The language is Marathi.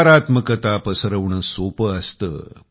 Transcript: नकारात्मकता पसरविणे सोपे असते